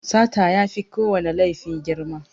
Sata yafi kowana laifi girma.